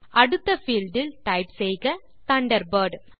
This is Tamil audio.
அடுத்த பீல்ட் இல் டைப் செய்க தண்டர்பர்ட்